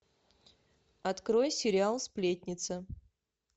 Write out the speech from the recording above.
открой сериал сплетница